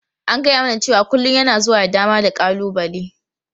An gaya mana cewa kullun yana zuwa da dama da ƙalubale.